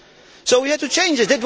So we had to change it.